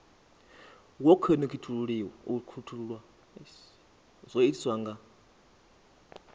wo khonekhithululwa zwo itiswa nga